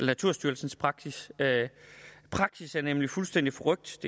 naturstyrelsen praksis praksis er nemlig fuldstændig forrykt